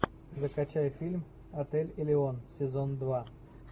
закачай фильм отель элион сезон два